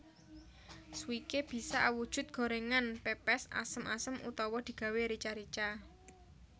Swikee bisa awujud gorèngan pèpès asem asem utawa digawé rica rica